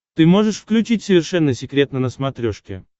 ты можешь включить совершенно секретно на смотрешке